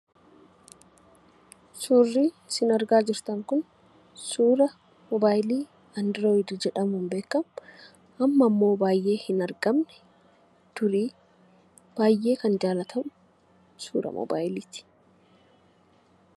Suurri isin argaa jirtan kun suura mobaayilii andirooyidii jedhamuun beekamu,a mma immoo baay'ee hin argamne, dur baay'ee kan jaallatamu, suuraa mobaayilii ti.